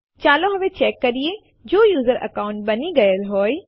ચાલો હવે ચેક કરીએ જો યુઝર અકાઉન્ટ બની ગયેલ હોય